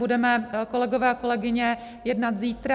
Budeme, kolegové a kolegyně, jednat zítra.